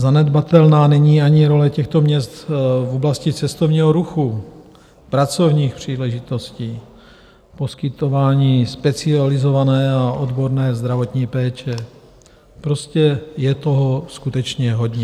Zanedbatelná není ani role těchto měst v oblasti cestovního ruchu, pracovních příležitostí, poskytování specializované a odborné zdravotní péče, prostě je toho skutečně hodně.